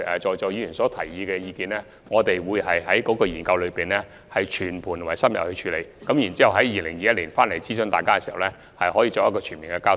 就議員提出的意見，我們會在研究中全盤而深入地處理，在2021年諮詢議員，並作全面交代。